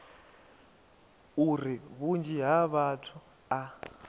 uri vhunzhi ha vhathu a